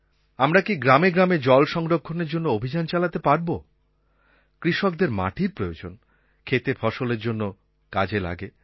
আমরা কি গ্রাম গ্রামে জল সংরক্ষণের জন্য অভিযান চালাতে পারব কৃষকদের মাটির প্রয়োজন ক্ষেতে ফসলের জন্য কাজে লাগে